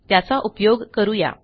त्याचा उपयोग करू या